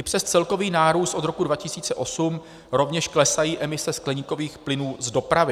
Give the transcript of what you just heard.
I přes celkový nárůst od roku 2008 rovněž klesají emise skleníkových plynů z dopravy.